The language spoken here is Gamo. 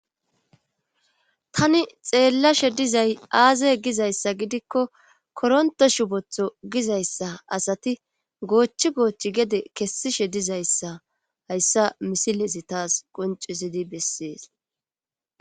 tani xeellashe dizay aaze gizayssa gidikko koronto shubotho gizayssa asati goochchi goochchi gede kessishe dizayssa hayssa misilezi taas qoncisidi bessees